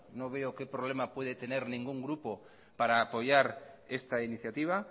no veo que problema puede tener ningún grupo para apoyar esta iniciativa